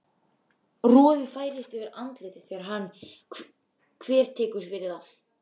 Roði færist yfir andlitið þegar hann þvertekur fyrir það.